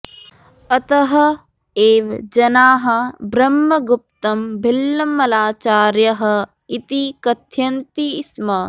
अतः एव जनाः ब्रह्मगुप्तं भिल्लमलाचार्यः इति कथयन्ति स्म